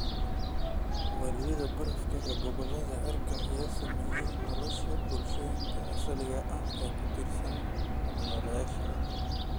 Waayida barafka ee gobollada cirifka ayaa saameeya nolosha bulshooyinka asaliga ah ee ku tiirsan hab-nololeedyadan.